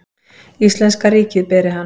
Íslenska ríkið beri hann.